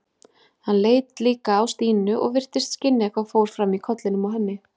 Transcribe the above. Hann leit líka á Stínu og virtist skynja hvað fór fram í kollinum á henni.